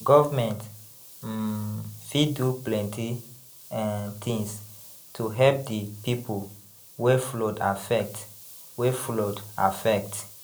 Government um fit do plenty um tins to help di pipu wey flood affect wey flood affect.